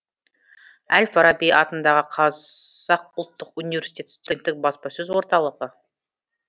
әл фараби атындағы қазақ ұлттық университеті студенттік баспасөз орталығы